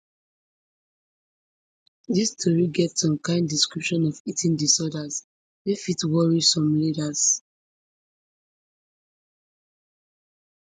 dis tori get some kain description of eating disorders twey fit worry some readers